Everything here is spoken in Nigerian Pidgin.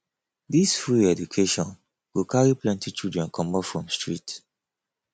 dis free education go carry plenty children comot from street